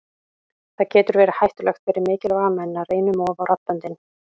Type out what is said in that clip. Það getur verið hættulegt fyrir mikilvæga menn að reyna um of á raddböndin.